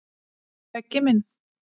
Beggi minn.